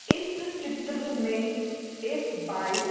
इस चित्र में एक बाइक --